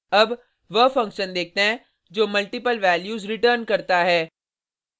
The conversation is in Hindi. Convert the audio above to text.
अब वह फंक्शन देखते हैं जो मल्टिपल वैल्यूज़ रिटर्न करता है